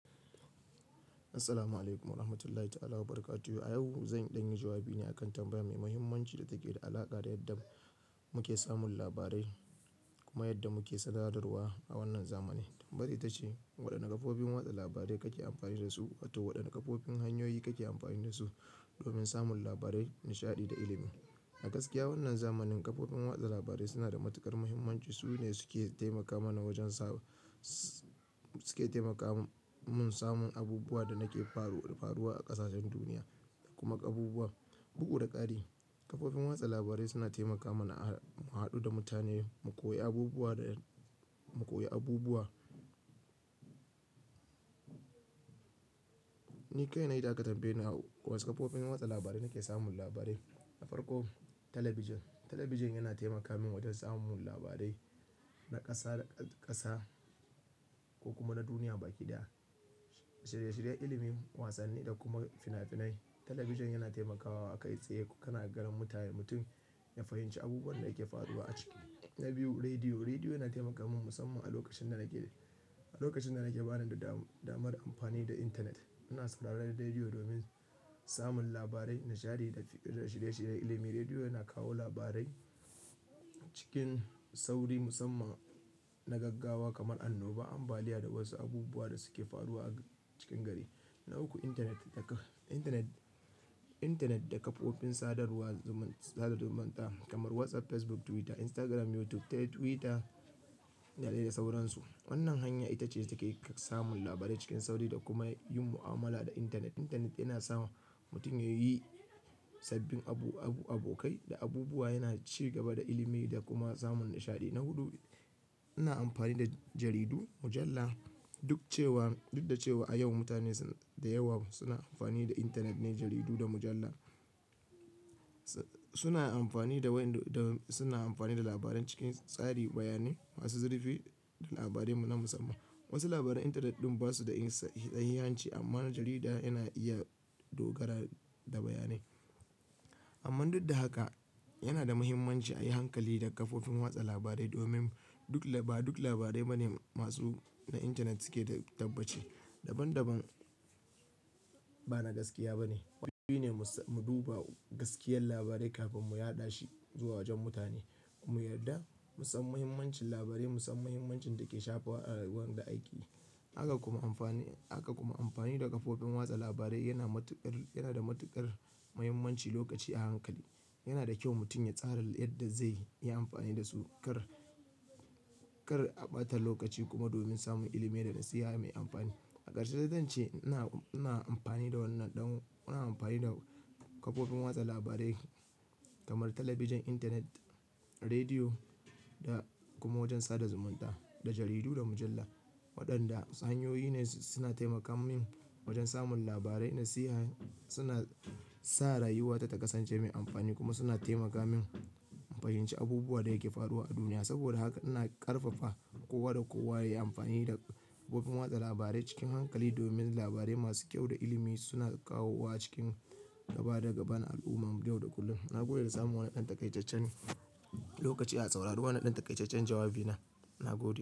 Assalamu alaikum wa rahmatullahi ta'ala wa barakato. A yau, zan ɗanyi jawabi ne akan tambaya mai muhimmanci da take da alaƙa da yadda muke samun labarai kuma yadda muke sadarwa a wannan zamani. Tambayar ita ce, waɗanne kafofin watsa labarai kake amfani da su? Wato, waɗanne kafofin hanyoyi kake amfani da su domin samun labarai, nishaɗi da ilimi? A gaskiya, wannan zamanin kafofin watsa labarai suna da matuƙar muhimmanci. Su ne suke taimaka mana wajen samu, suke taimaka mun samun abubuwan da nake faruwar a ƙasashen duniya da kuma ƙabubuwa, buhu da ƙari. Kafofin watsa labarai suna taimaka mana a haɗu da mutane, mu koyi abubuwa da, mu koyi abubuwa. Ni kaina, ita katambaye na wasu kafofin watsa labarai nake samun labarai. Na farko, talabijin. Talabijin yana taimaka min wajen samun labarai na ƙasa da ƙasa ko kuma na duniya baki daya, shirye shiryen ilimi, wasanni da kuma finafinai. Talabijin yana taimakawa a kai tsaye kana garan mutane, mutum ya fahimci abubuwan da yake faruwa a cikin. Na biyu, rediyo. Rediyo yana taimaka min musamman a lokacin da nake, a lokacin da nake bani da damar amfani da intanet. Ina sauraron rediyo domin samun labarai, nishaɗi da shirye shirye ilimi. Rediyo yana kawo labarai cikin sauri musamman na gaggawa kamar annoba, ambaliya da wasu abubuwa da suke faruwa a cikin gari. Na uku, intanet da, intanet, intanet da kafofin sadarwar sada zumunta kamar WhatsApp, Facebook, Twitter, Instagram, YouTube. Twitter da dai da sauransu. Wannan hanya ita ce take samun labarai cikin sauri da kuma yin mu'amala da intanet. Intanet yana sa mutum ya yi sabbin abu, abu, abokai da abubuwa, yana cigaba da ilimi da kuma samun nishaɗi. Na hudu, ina amfani da jaridu, mujalla. Duk cewa, duk da cewa a yau mutane da yawa suna amfani da intanet ne, jaridu da mujalla, suna amfani da wain, suna amfani da labaran cikin tsari, bayanai masu zurfi da labarai na musamman. Wasu labaran intanet ɗin ba su da in sahihanci amma jarida yana iya dogara da bayanai. Amma duk da haka, yana da muhimmanci a yi hankali da kafofin watsa labarai domin duk laba, duk labarai ba ne masu, na intanet suke da tabbace. Daban daban, ba na gaskiya ba ne. Mu duba gaskiyar labarai kafin mu yaɗa shi zuwa wajen mutane. Mu yarda musan muhimmancin labarai, musan muhimmancin da ke shafar rayuwar da akeyi. Haka kuma amfani, haka kuma amfani da kafofin watsa labarai yana matuƙar, yana da matuƙar muhimmanci lokaci a hankali. Yana da kyau mutum ya tsara yadda zai yi amfani da su kar, kar a ɓata lokaci kuma domin samun ilimi da nasiha mai amfani. A karshe, zan ce ina, ina amfani da wannan ɗan, ina amfani da kafofin watsa labarai kamar talabijin, intanet, rediyo da kuma wajen sada zumunta, da jaridu, da mujalla. Waɗanda tsanyoyi ne suna taimaka min wajen samun labarai, nasiha. Suna sa rayuwata ta kasance mai amfani kuma suna taimaka min in fahimci abubuwan da yake faruwa a duniya. Saboda haka, ina ƙarfafa kowa da kowa ya yi amfani da kafofin watsa labarai cikin hankali domin labarai masu kyau da ilimi suna kawo wa cikin gaba da gaban al'umma yau da kullum. Na gode da samun wannan ɗan takaijajjen. Lokaci a sauraro wannan ɗan takaitaccen jawabi na, na gode.